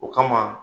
O kama